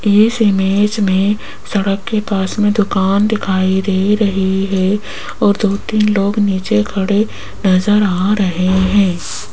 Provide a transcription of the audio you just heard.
इस इमेज में सड़क के पास में दुकान दिखाई दे रही है और दो तीन लोग नीचे खड़े नजर आ रहे हैं।